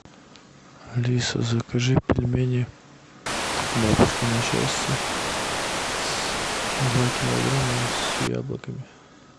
алиса закажи пельмени бабушкино счастье два килограмма с яблоками